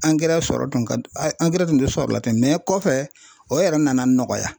Angɛrɛ sɔrɔ tun ka angɛrɛ tun tɛ sɔrɔ la ten kɔfɛ o yɛrɛ nana nɔgɔya.